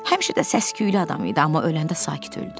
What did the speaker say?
Həmişə də səs-küylü adam idi, amma öləndə sakit öldü.